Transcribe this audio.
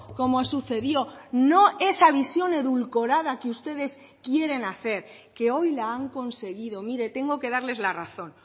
como sucedió no esa visión edulcorada que ustedes quieren hacer que hoy la han conseguido mire tengo que darles la razón